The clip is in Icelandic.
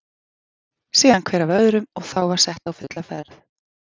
Síðan hver af öðrum og þá var sett á fulla ferð.